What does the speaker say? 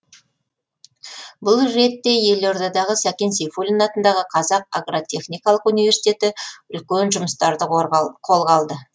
бұл ретте елордадағы сәкен сейфуллин атындағы қазақ агротехникалық университеті үлкен жұмыстарды қолға алды